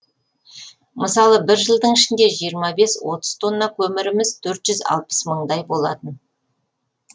мысалы бір жылдың ішінде жиырма бес отыз тонна көміріміз төрт жүз алпыс мыңдай болатын